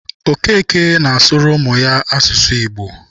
Okeke na-asụrụ ụmụ ya asụsụ Igbo.